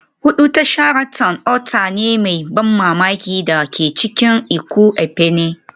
Hudu ta Sheraton otal ne mai ban mamaki da ke cikin Ikot Ekpene